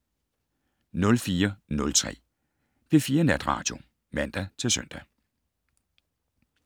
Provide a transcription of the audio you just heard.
04:03: P4 Natradio (man-søn)